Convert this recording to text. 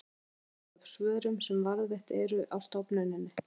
talsvert barst af svörum sem varðveitt eru á stofnuninni